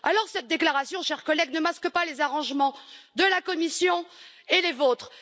Cette déclaration, chers collègues, ne masque pas les arrangements de la Commission et les vôtres.